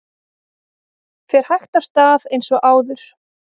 Fer hægt af stað eins og áður